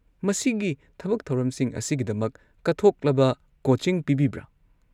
ꯃꯁꯤꯒꯤ ꯊꯕꯛ ꯊꯧꯔꯝꯁꯤꯡ ꯑꯁꯤꯒꯤꯗꯃꯛ ꯀꯠꯊꯣꯛꯂꯕ ꯀꯣꯆꯤꯡ ꯄꯤꯕꯤꯕ꯭ꯔꯥ?